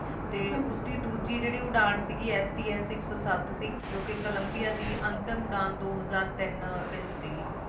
ਤੇ ਉਸਦੀ ਦੂਜੀ ਜਿਹੜੀ ਉਡਾਣ ਸੀਗੀ sts ਇਕ ਸੋ ਸਤ ਸੀ ਜੌ ਕਿ Columbia ਦੀ ਅੰਤਿਮ ਉਡਾਣ ਦੋ ਹਜਾਰ ਤੀਨ ਵਿੱਚ ਸੀਗੀ